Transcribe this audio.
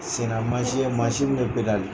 Sennamasin ye mansin min sen na.